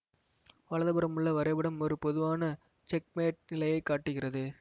வலதுபுறம் உள்ள வரைபடம் ஒரு பொதுவான செக்மேட் நிலையை காட்டுகிறது